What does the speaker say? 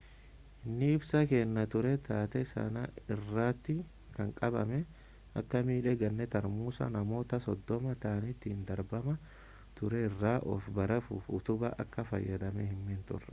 inni ibsa kennaa ture taatee sana irratti kan qabame akka miidhe ganee tarmuusa namoota soddoma ta'aniin itti darbamaa ture irraa of baraaruuf utubaa akka fayyadamee himee ture